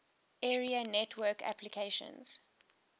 area network applications